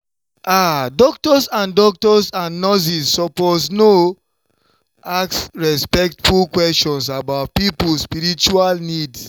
ah doctors and doctors and nurses suppose you know ask respectful questions about people spiritual needs.